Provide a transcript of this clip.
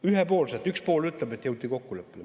Ühepoolselt üks pool ütleb, et jõuti kokkuleppele.